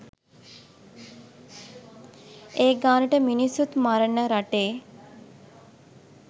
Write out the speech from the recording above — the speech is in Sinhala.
ඒ ගානට මිනිස්සුත් මරණ රටේ?